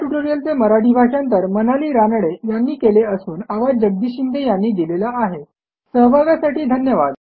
ह्या ट्युटोरियलचे मराठी भाषांतर मनाली रानडे यांनी केले असून आवाज जगदीश शिंदे यांचा आहेसहभागासाठी धन्यवाद